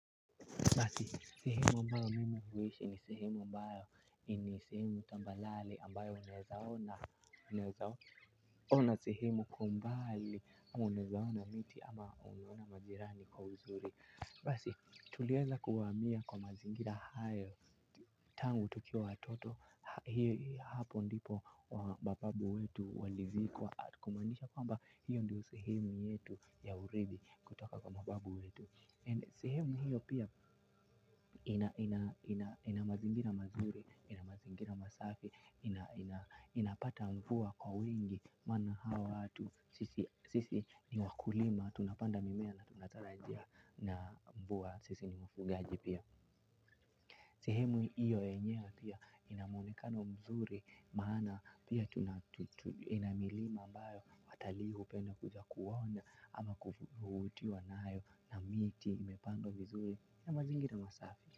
Basi, sehemu ambayo mimi huishi ni sehemu ambayo ni sehemu tambarare ambayo unaweza ona, unaweza ona, sehemu kwa mbali ama unaweona miti ama unaweza ona majirani kwa uzuri. Basi, tuliaza kuhamia kwa mazingira hayo tangu tukiwa watoto, hapo ndipo mababu wetu walizikwa atukumaanisha kwamba hiyo ndiyo sehemu yetu ya urithi kutoka kwa mababu wetu. Sehemu hiyo pia ina mazingira mazuri, ina mazingira masafi, inapata mvua kwa wingi, maana hawa watu, sisi ni wakulima, tunapanda mimea na tunatarajia na mvua, sisi ni wafugaji pia. Sehemu hiyo yenyewe pia ina muonekano mzuri maana pia ina milima mbayo watalii hu penda kuja kuona ama kuvutiwa nayo na miti imepandwa vizuri na mazingira masafi.